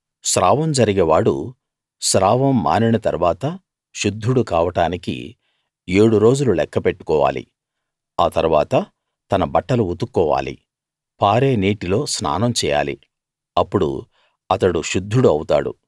స్రావం జరిగే వాడు స్రావం మానిన తరువాత శుద్ధుడు కావడానికి ఏడు రోజులు లెక్క పెట్టుకోవాలి ఆ తరువాత తన బట్టలు ఉతుక్కోవాలి పారే నీటిలో స్నానం చేయాలి అప్పుడు అతడు శుద్ధుడు అవుతాడు